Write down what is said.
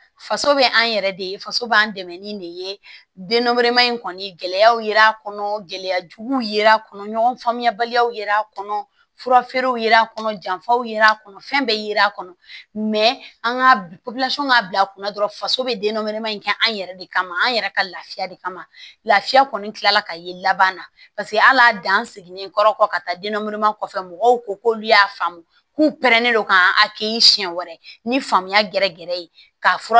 Faso bɛ an yɛrɛ de ye faso b'an dɛmɛ ni de ye denba in kɔni gɛlɛyaw ye a kɔnɔ gɛlɛya jugu yera a kɔnɔ ɲɔgɔn faamuyabaliyaw ye a kɔnɔ fura feerew ye a kɔnɔ janfaw ye a kɔnɔ fɛn bɛ yera a kɔnɔ an ka k'a bila kunna dɔrɔn faso bɛ denba in kɛ an yɛrɛ de kama an yɛrɛ ka laafiya de kama lafiya kɔni kila la ka ye laban na paseke hal'a dan seginnen kɔrɔ kɔ ka taa denre kɔfɛ mɔgɔw ko k'olu y'a faamu k'u pɛrɛnnen don k'an kɛ siɲɛ wɛrɛ ni faamuya gɛrɛ gɛrɛ ye ka f